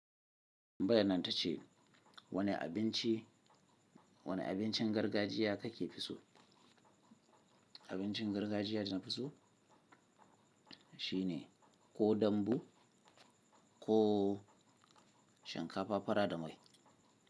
Tambayan nan ta ce wane abinci, wane abincin gargajiya kake fi so? Abincin gargajiya da na fi so shine ko dambu ko shinkafa fara da mai.